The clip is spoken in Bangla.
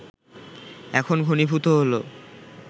এখন ঘনীভূত হলো